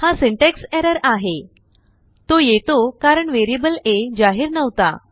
हाsyntax errorआहेतो येतो कारण वेरियबल aजाहीर नव्हता